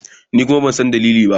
Ni kuma ban san dalili ba.